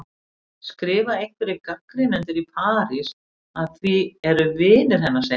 skrifa einhverjir gagnrýnendur í París, að því er vinir hennar segja henni.